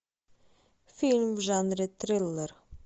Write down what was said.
фильм в жанре триллер